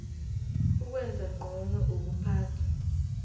ukwenza ngcono ukuphathwa